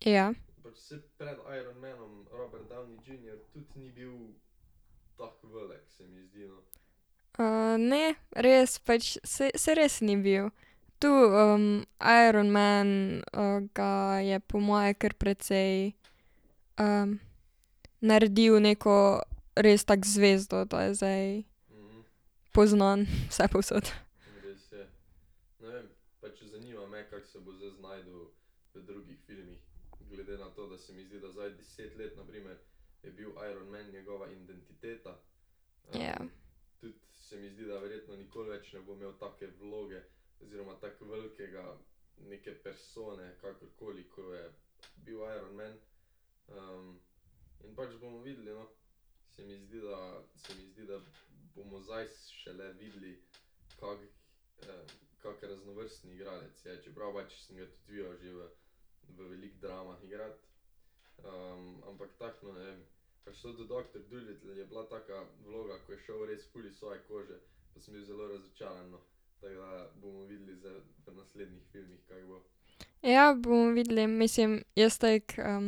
Ja. ne, res pač saj res ni bil. Tu Iron man ga je po mojem kar precej naredil neko res tako zvezdo, da je zdaj poznan vsepovsod. Ja. Ja, bomo videli, mislim, jaz tako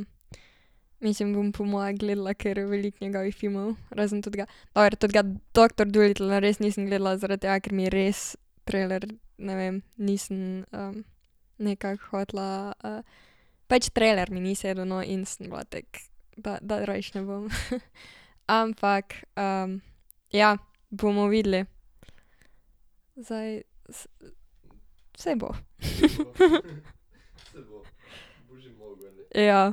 mislim, bom po moje gledala kar veliko njegovih filmov, razen totega, dober, totega Doctor Dolittla res nisem gledala, zaradi tega, ker mi res trailer, ne vem, nisem nekako hotela pač trailer mi ni sedel, no, in sem bila tako da, da rajši ne bom . Ampak ja, bomo videli. Zdaj saj bo . Ja.